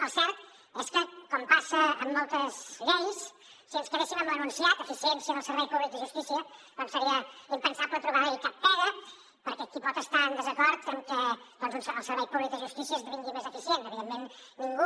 el cert és que com passa amb moltes lleis si ens quedéssim amb l’enunciat eficiència del servei públic de justícia seria impensable trobar hi cap pega perquè qui pot estar en desacord amb que el servei públic de justícia esdevingui més eficient evidentment ningú